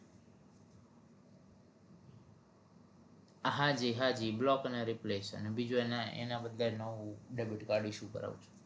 હાંજી હાંજી block and replace અને બીજું એના બદલે નવું debit card issue કરાવું છે